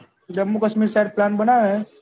Jammu Kashmir side plan બનાવે એ